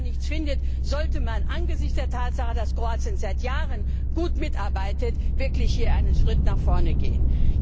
Wenn man dann nichts findet, sollte man angesichts der Tatsache, dass Kroatien seit Jahren gut mitarbeitet, wirklich einen Schritt nach vorne gehen.